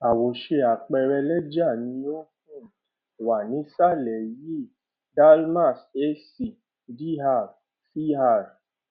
àwòṣe àpẹẹrẹ lẹjà ni ó um wà nísàlẹ yìí dalmias ac dr cr